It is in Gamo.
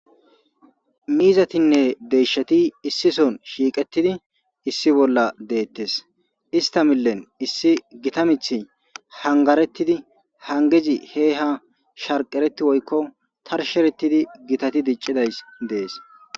miizatinne deyshati issi son shiiqettidi issi bolla deettes ista millen issi gita mith hangarettidi hangezi he ha sharqeretti woykko tarsherettidi gitati diccidays dees